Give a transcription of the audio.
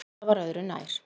En það var öðru nær